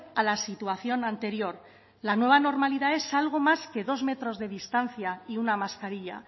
a la situación anterior la nueva normalidad es algo más que dos metros de distancia y una mascarilla